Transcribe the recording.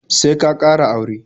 Sai ka ƙara aure